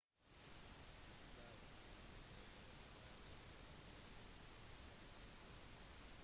de står på unescos verdensarvliste